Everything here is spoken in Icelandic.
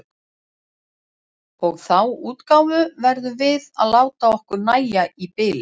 Og þá útgáfu verðum við að láta okkur nægja í bili.